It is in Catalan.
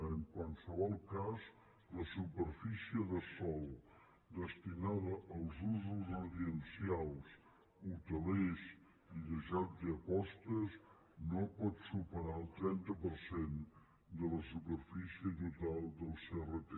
en qualsevol cas la superfície de sòl destinada als usos residencials hotelers i de jocs i apostes no pot superar el trenta per cent de la superfície total del crt